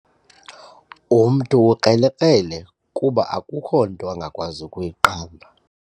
Umntu ukrelekrele kuba akukho nto angakwazi kuyiqamba.